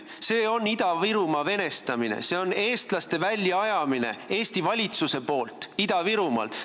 See on Ida-Virumaa venestamine, see on eestlaste väljaajamine Eesti valitsuse poolt Ida-Virumaalt.